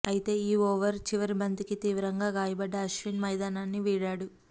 అయితే ఈ ఓవర్ చివరి బంతికి తీవ్రంగా గాయపడ్డ అశ్విన్ మైదానాన్ని వీడాడు